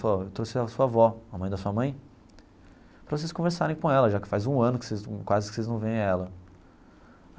Falou ó, eu trouxe a sua avó, a mãe da sua mãe, para vocês conversarem com ela, já que faz um ano que vocês num quase que vocês não veem ela.